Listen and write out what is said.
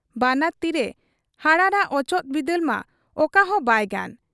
ᱵᱟᱱᱟᱨ ᱛᱤᱨᱮ ᱦᱟᱨᱟᱲᱟᱜ ᱚᱪᱚᱜ ᱵᱤᱫᱟᱹᱞ ᱢᱟ ᱚᱠᱟᱦᱚᱸ ᱵᱟᱭ ᱜᱟᱱ ᱾